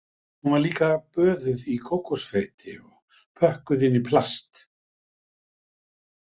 Hún var líka böðuð í kókosfeiti og pökkuð inn í plast